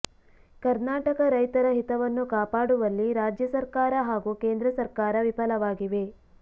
ಕರ್ನಾಟಕ ರೈತರ ಹಿತವನ್ನು ಕಾಪಾಡುವಲ್ಲಿ ರಾಜ್ಯ ಸರ್ಕಾರ ಹಾಗೂ ಕೇಂದ್ರ ಸರ್ಕಾರ ವಿಫಲವಾಗಿವೆ